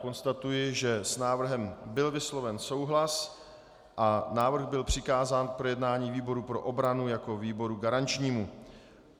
Konstatuji, že s návrhem byl vysloven souhlas a návrh byl přikázán k projednání výboru pro obranu jako výboru garančnímu.